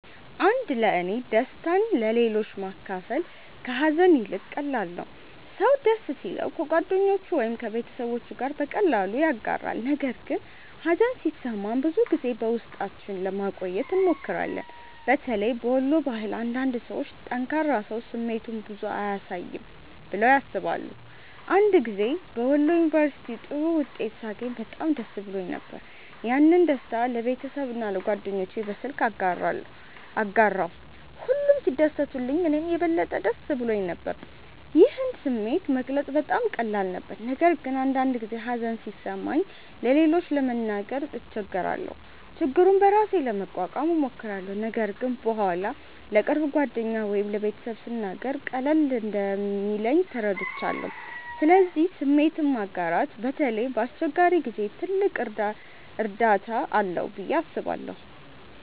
1ለእኔ ደስታን ለሌሎች ማካፈል ከሀዘን ይልቅ ቀላል ነው። ሰው ደስ ሲለው ከጓደኞቹ ወይም ከቤተሰቡ ጋር በቀላሉ ያጋራል፣ ነገር ግን ሀዘን ሲሰማን ብዙ ጊዜ በውስጣችን ለማቆየት እንሞክራለን። በተለይ በወሎ ባህል አንዳንድ ሰዎች “ጠንካራ ሰው ስሜቱን ብዙ አያሳይም” ብለው ያስባሉ። አንድ ጊዜ በወሎ ዩንቨርስቲ ጥሩ ውጤት ሳገኝ በጣም ደስ ብሎኝ ነበር። ያንን ደስታ ለቤተሰቤና ለጓደኞቼ በስልክ አጋራሁ፣ ሁሉም ሲደሰቱልኝ እኔም የበለጠ ደስ ብሎኝ ነበር። ይህን ስሜት መግለጽ በጣም ቀላል ነበር። ነገር ግን አንዳንድ ጊዜ ሀዘን ሲሰማኝ ለሌሎች ለመናገር እቸገራለሁ። ችግሩን በራሴ ለመቋቋም እሞክራለሁ፣ ነገር ግን በኋላ ለቅርብ ጓደኛ ወይም ለቤተሰብ ስናገር ቀለል እንደሚለኝ ተረድቻለሁ። ስለዚህ ስሜትን ማጋራት በተለይ በአስቸጋሪ ጊዜ ትልቅ እርዳታ አለው ብዬ አስባለሁ።